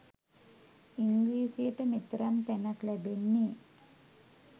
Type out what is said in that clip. ඉංග්‍රීසියට මෙතරම් තැනක් ලැබෙන්නේ